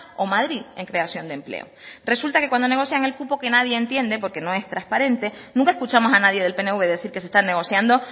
o madrid en creación de empleo resulta que cuando negocian el cupo que nadie entiende porque no es transparente nunca escuchamos a nadie del pnv decir que se están negociando